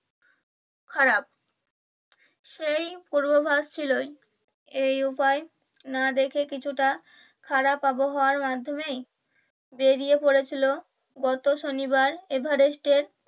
খারাপ সেই পূর্ভবাস ছিল এই উপায় না দেখে কিছুটা খারাপ আবহাওয়া এর মাধ্যমে বেরিয়ে পড়েছিল গত শনিবার এভারেস্টের